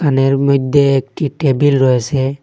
দোকানের মইধ্যে একটি টেবিল রয়েসে।